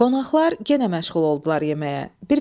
Qonaqlar yenə məşğul oldular yeməyə.